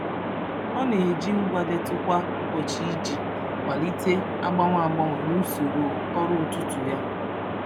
Ọ na-eji ngwa ndetu kwa ụbọchị iji kwalite agbanwe agbanwe n'usoro ọrụ ụtụtụ ya.